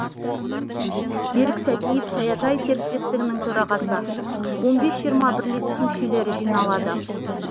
берік сәтиев саяжай серіктестігінің төрағасы он бес жиырма бірлестік мүшелері жиналады